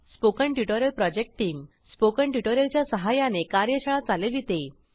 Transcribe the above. spoken tutorial project team spoken tutorial च्या सहाय्याने कार्यशाळा चालविते